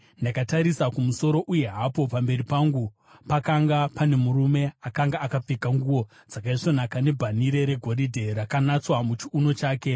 ndakatarisa kumusoro uye hapo pamberi pangu pakanga pane murume akanga akapfeka nguo dzakaisvonaka, nebhanhire regoridhe rakanatswa muchiuno chake.